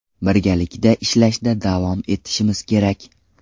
Birgalikda ishlashda davom etishimiz kerak.